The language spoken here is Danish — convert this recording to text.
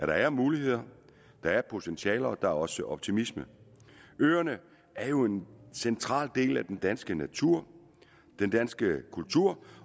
der er muligheder der er potentiale og der er også optimisme øerne er jo en central del af den danske natur den danske kultur